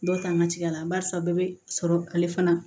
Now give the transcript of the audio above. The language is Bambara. Dɔw ta an ka cikɛla barisa bɛɛ bɛ sɔrɔ ale fana